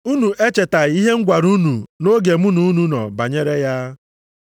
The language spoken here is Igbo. Unu echetaghị ihe m gwara unu nʼoge mụ na unu nọ banyere ya?